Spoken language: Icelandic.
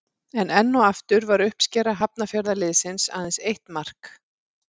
En enn og aftur var uppskera Hafnarfjarðarliðsins aðeins eitt mark.